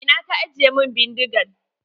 A ina ka ajiye min bindigan?